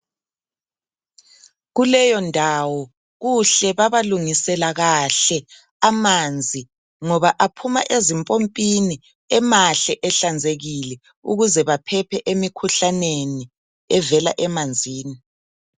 Kuleyo ndawo kuhle babalungisela kahle amanzi ngoba aphuma ezimpompini emahle ehlanzekile ukuze baphephe emikhuhlaneni evela emanzini .